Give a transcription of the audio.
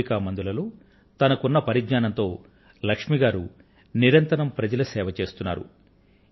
మూలికా మందులలో తనకు ఉన్నటువంటి పరిజ్ఞానంతో లక్ష్మి గారు ప్రజలకు నిరంతరం సేవ చేస్తున్నారు